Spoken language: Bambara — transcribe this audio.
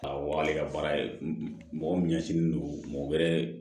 Awɔ ale ka baara ye mɔgɔ min ɲɛsinnen don mɔgɔ wɛrɛ